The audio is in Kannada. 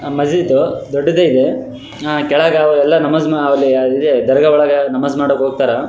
ಮಸೀಝ್ ದೊಡ್ಡದಿದೆ ಕೆಳ್ಗ ಅವ್ರೆಲ್ಲ ನಮಾಝ್ ಅಲ್ಲಿ ದರ್ಗಾಗಳೆಲ್ಲ ನಮಾಝ್ ಮಾಡಕ್ಕೋಕ್ತಾರ.